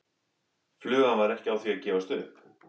Flugan var ekki á því að gefast upp.